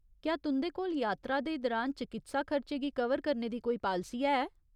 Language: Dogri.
क्या तुं'दे कोल यात्रा दे दरान चकित्सा खर्चे गी कवर करने दी कोई पालसी है?